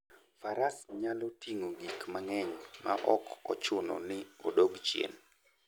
Faras nyalo ting'o gik mang'eny maok ochuno ni odog chien.